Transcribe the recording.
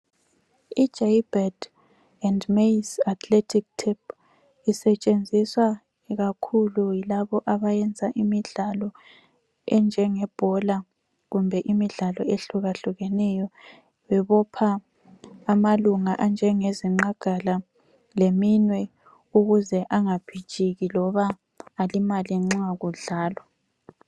IJaybird and mais athletic tap isetshenziswa kakhulu yilabo abayenza imidlalo enjengebhola kumbe imidlalo ehlukahlukeneyo bebopha amalunga anjenge zinqagala leminwe ukuze angiphitshiki loba alimale nxa kudlalwa.